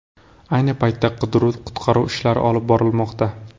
Ayni paytda qidiruv-qutqaruv ishlari olib borilmoqda.